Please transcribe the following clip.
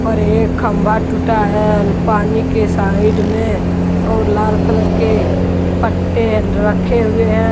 और एक खंभा टूटा है पानी के साइड में और लाल कलर के पट्टे रखे हुए हैं।